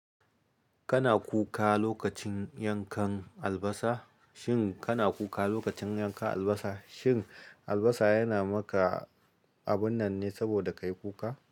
Kana kuka lokacin yankan albasa? Shin kana kuka lokacin yankan albasa? Shin albasa yana maka abun nan ne saboda ka yi kuka?